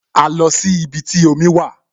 A lọ sí ibi tí omi wà